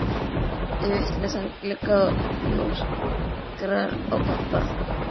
Klifrar upp í vitlausan glugga og lúskrar á pabba!